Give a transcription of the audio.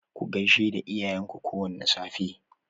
Ku gaishe da iyayen ku kowane safe.